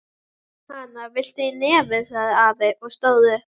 Hana, viltu í nefið? sagði afi og stóð upp.